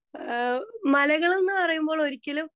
speaker 2 ആ മലകളെന്നു പറയുമ്പോൾ ഒരിക്കലും